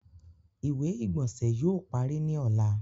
Ìwé-ìgbónsẹ̀ yóò pàrí ní ọ̀là.